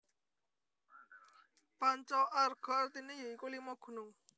Panca Arga artine ya iku Lima Gunung